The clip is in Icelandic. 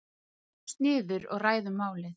Setjumst niður og ræðum málið.